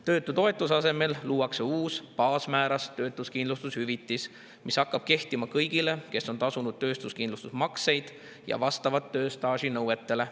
Töötutoetuse asemel luuakse uus baasmääras töötuskindlustushüvitis, mis hakkab kehtima kõigile, kes on tasunud töötuskindlustusmakseid ja vastavad tööstaaži nõuetele.